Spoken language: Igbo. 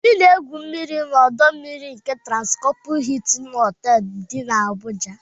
Obi na-egwu mmiri n'ọdọ mmiri nke Transkọpụ Hịịtịn Họtelụ dị n'Abuja.